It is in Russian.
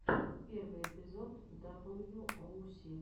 первый эпизод даблю оу си